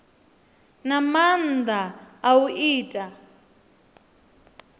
na maanda a u ita